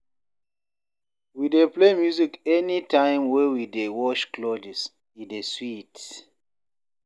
We dey play music anytime wey we dey wash clothes, e dey sweet.